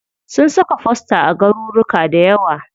Sun saka fosta a garuruka dayawa.